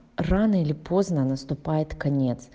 рано или поздно наступает конец